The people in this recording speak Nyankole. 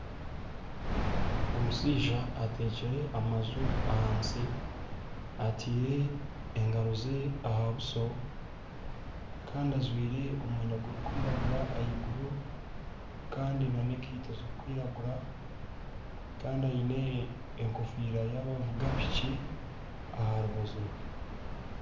Omushaija atekire amaju ahansi. Atiire engaro ze aha buso kandi ajwire omwenda gurikwiragura ahaiguru kandi n'enkeito ziri kwiragura Kandi aine enkofiira yabavugi ba piki aha rubaju rwe.